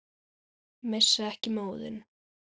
Missa ekki móðinn.